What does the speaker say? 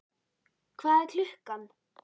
Hvað er klukkan?